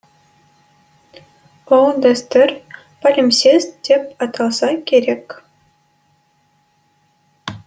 ол дәстүр палимсест деп аталса керек